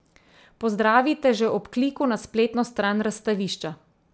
Pozdravi te že ob kliku na spletno stran razstavišča.